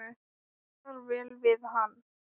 Passar vel við hann.